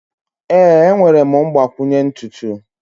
Ee, enwere m mgbakwunye ntutu.